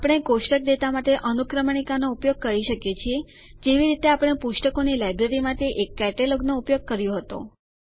આપણે કોષ્ટક ડેટા માટે અનુક્રમણીકાનો ઉપયોગ કરી શકીએ છીએ જેવી રીતે આપણે પુસ્તકોની લાઈબ્રેરી માટે એક કેટેલોગ નો ઉપયોગ કર્યો હતો